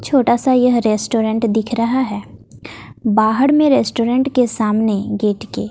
छोटा सा यह रेस्टोरेंट दिख रहा है बाहर में रेस्टोरेंट के सामने गेट के--